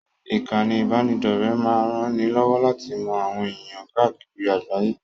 Ìkànnì ìbánidọ́rẹ̀ẹ́ máa ranni lọ́wọ́ láti mọ àwọn ẹ̀ẹ̀yàn káàkiri àgbáyé.